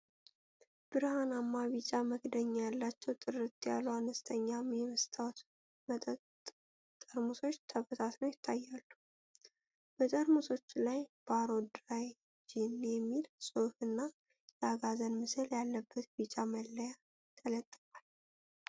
ብርሃናማ ቢጫ መክደኛ ያላቸው ጥርት ያሉ፣ አነስተኛ የመስታወት መጠጥ ጠርሙሶች ተበታትነው ይታያሉ። በጠርሙሶቹ ላይ "ባሮ ድራይ ጂን" የሚል ጽሁፍ እና የአጋዘን ምስል ያለበት ቢጫ መለያ ተለጥፏል።